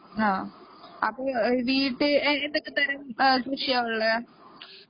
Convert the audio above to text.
മ്മ്